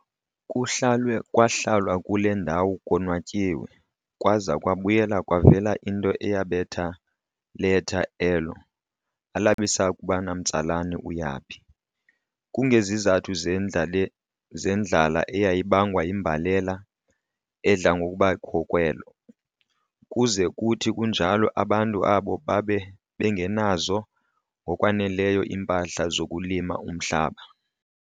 Kuhlalwe kwahlalwa kule ndawo konwatyiwe, kwaza kwabuya kwavela into eyabetha letha elo, alabisakuba namtsalane uyaphi. Kungesizathu sendlala eyayibangwa yimbalela edla ngokuba kho kwelo, kuze kuthi kunjalo abantu aabo babe bengenazo ngokwaneleyo iimpahla zokulima umhlaba.